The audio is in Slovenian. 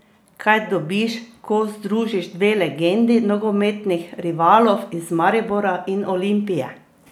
Kaj dobiš, ko združiš dve legendi nogometnih rivalov iz Maribora in Olimpije?